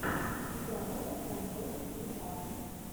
игра тоттенхэм против ньюкасл